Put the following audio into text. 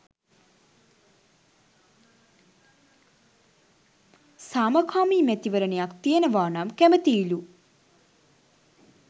සාමකාමී මැතිවරණයක් තියෙනවා නම් කැමැතියිලු.